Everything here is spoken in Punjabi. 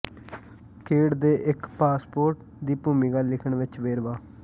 ਖੇਡ ਦੇ ਇੱਕ ਪਾਸਪੋਰਟ ਦੀ ਭੂਮਿਕਾ ਲਿਖਣ ਵਿੱਚ ਵੇਰਵਾ